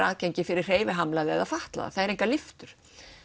aðgengi fyrir hreyfihamlaða eða fatlaða það eru engar lyftur